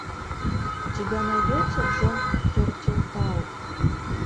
у тебя найдется джон тертелтауб